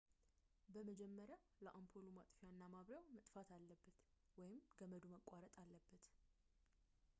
በመጀመሪያ ለአምፖሉ ማጥፊያ እና ማብሪያው መጥፋት አለበት ወይም ገመዱ መቋረጥ አለበት